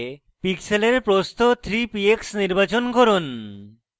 pixel প্রস্থ 3 px নির্বাচন করুন